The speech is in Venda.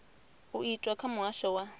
u itwa kha muhasho wa